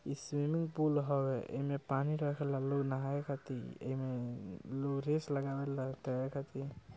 इ swimming pool हवे ऐमे पानी रखेला लोग नहाये खातिर एमे लोग रेस लगवे लग तैरे खातिर।